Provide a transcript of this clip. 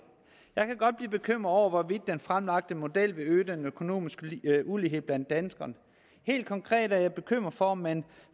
jeg kan godt blive bekymret over hvorvidt den fremlagte model vil øge den økonomiske ulighed blandt danskerne helt konkret er jeg bekymret for om man